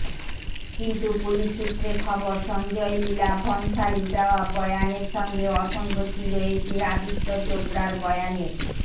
কিন্তু পুলিশ সূত্রে খবর সঞ্জয় লীলা ভনসালীর দেওয়া বয়ানের সঙ্গে অসঙ্গতি রয়েছে আদিত্য চোপড়ার বয়ানের